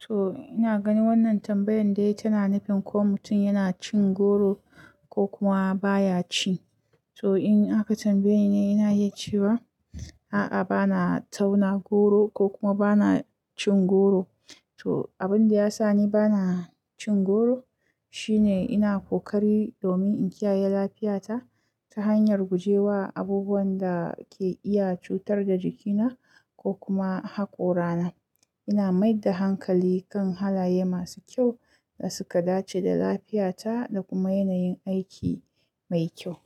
To ina gani wannan tambayan dai tana nufin ko mutum yana cin goro ko kuma baya ci. To in aka tambaye ni, ina yi cewa a'a bana tauna goro ko kuma bana cin goro. To abin da ya sa ni bana cin goro shine ina kokari domin in kiyaye lafiyata ta hanyar guje wa abubuwan da ke iya cutar da jikina ko kuma haƙorana. Ina mai da hankali kan halaye masu kyau da suka dace da lafiyata da kuma yanayin aiki mai kyau.